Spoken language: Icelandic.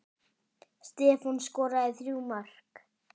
Stefán skoraði þrjú mörk.